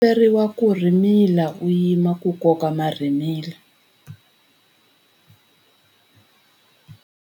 Komberiwa ku rhimila u yima ku koka marhimila.